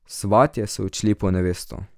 Svatje so odšli po nevesto.